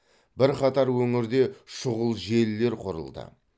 бірқатар өңірде шұғыл желілер құрылды